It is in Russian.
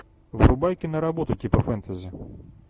врубай киноработу типа фэнтези